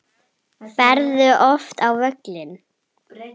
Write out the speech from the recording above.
Ferðu oft á völlinn?